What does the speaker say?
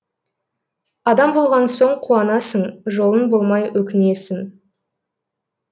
адам болған соң қуанасың жолың болмай өкінесің